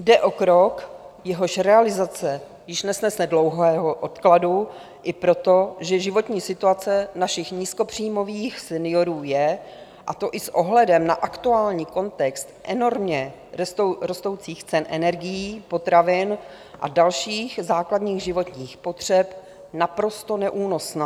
Jde o krok, jehož realizace již nesnese dlouhého odkladu i proto, že životní situace našich nízkopříjmových seniorů je, a to i s ohledem na aktuální kontext enormně rostoucích cen energií, potravin a dalších základních životních potřeb, naprosto neúnosná.